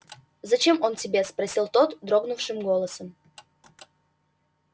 зачем он тебе спросил тот дрогнувшим голосом